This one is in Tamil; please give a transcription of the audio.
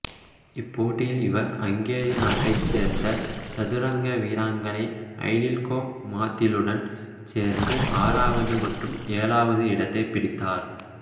இப்போட்டியில் இவர் அங்கேரி நாட்டைச் சேர்ந்த சதுரங்க வீராங்கனை ஐடில்கோ மாதிலுடன் சேர்ந்து ஆறாவது மற்றும் ஏழாவது இடத்தைப் பிடித்தார்